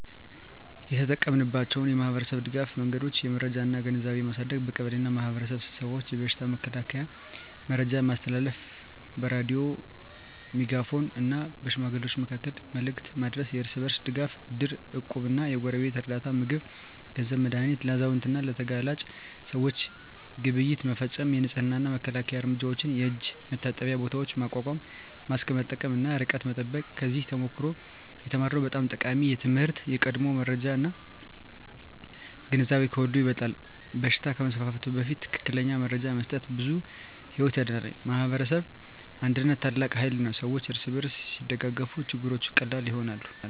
የተጠቀማችንባቸው የማኅበረሰብ ድጋፍ መንገዶች የመረጃ እና ግንዛቤ ማሳደግ በቀበሌ እና በማኅበረሰብ ስብሰባዎች የበሽታ መከላከያ መረጃ ማስተላለፍ በሬዲዮ፣ በሜጋፎን እና በሽማግሌዎች መካከል መልዕክት ማድረስ የእርስ በርስ ድጋፍ እድር፣ እቁብ እና የጎረቤት ርዳታ (ምግብ፣ ገንዘብ፣ መድሃኒት) ለአዛውንት እና ለተጋላጭ ሰዎች ግብይት መፈፀም የንፅህና እና መከላከያ እርምጃዎች የእጅ መታጠቢያ ቦታዎች ማቋቋም ማስክ መጠቀም እና ርቀት መጠበቅ ከዚያ ተሞክሮ የተማርነው በጣም ጠቃሚ ትምህርት የቀድሞ መረጃ እና ግንዛቤ ከሁሉ ይበልጣል በሽታ ከመስፋፋቱ በፊት ትክክለኛ መረጃ መስጠት ብዙ ሕይወት ያድናል። የማኅበረሰብ አንድነት ታላቅ ኃይል ነው ሰዎች እርስ በርስ ሲደጋገፉ ችግሮች ቀላል ይሆናሉ።